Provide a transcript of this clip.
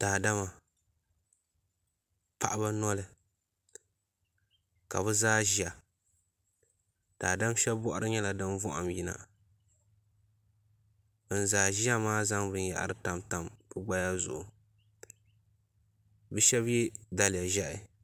Daadama paɣaba noli ka bi zaa ƶiya daadam shab boɣari nyɛla din vaham yina bin zaa yina maa zaŋ binyahri tamtam bi gbaya zuɣu bi shab yɛ daliya ʒiɛhi